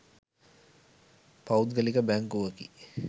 පෞද්ගලික බැංකුවකි.